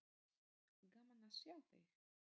Gaman að sjá þig.